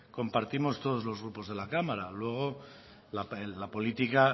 compartimos todos los grupos de la cámara luego la política